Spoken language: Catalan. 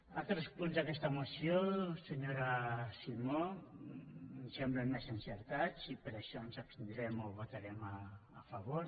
altres punts d’aquesta moció senyora simó em semblen més encertats i per això ens abstindrem o votarem a favor